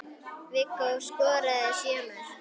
Viggó skoraði sjö mörk.